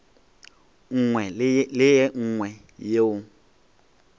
nngwe le ye nngwe yeo